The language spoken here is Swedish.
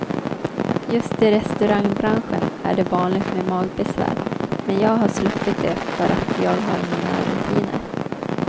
Just i restaurangbranschen är det vanligt med magbesvär men jag har sluppit det för att jag har mina rutiner.